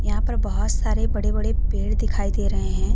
यहां पर बहुत सारे बड़े बड़े पेड़ दिखाई दे रहे हैं।